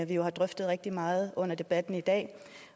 vi jo har drøftet rigtig meget under debatten i dag